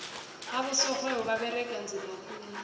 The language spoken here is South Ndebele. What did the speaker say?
abosorhwebo baberega nzima khulu